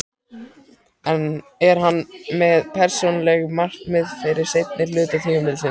Er hann með persónuleg markmið fyrir seinni hluta tímabilsins?